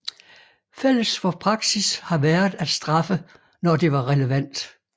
Fælles for praksis har været at straffe når det var relevant